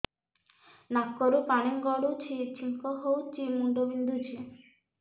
ନାକରୁ ପାଣି ଗଡୁଛି ଛିଙ୍କ ହଉଚି ମୁଣ୍ଡ ବିନ୍ଧୁଛି